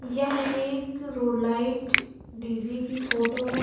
यह एक road light DJ की फोटो है।